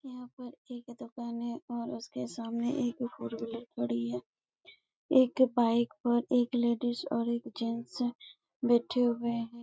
यहाँ पर एक दुकान है और उसके सामने एक फ़ॉर व्हीलर खड़ी है एक बाइक पर एक लेडीज और एक जेंट्स बैठे हुए है ।